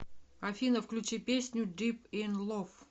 афина включи песню дип ин лав